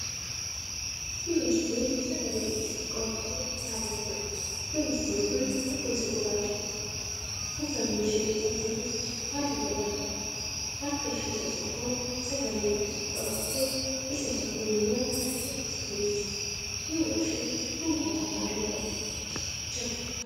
Dubartii sagale-guddistuu qabattee dhaabattuudha. dubartiin Kun rifeensa gurraacha Kan qabduudha. uffanni isheen uffattee jirtu halluu gurraacha qaba. harka ishee Isa tokkoon sagalee-guddistuu qabattee Isa tokko immoo diriirsitee jirti. duuba isheetti konkolaataa halluu adii qabutu Jira.